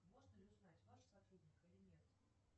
можно ли узнать ваш сотрудник или нет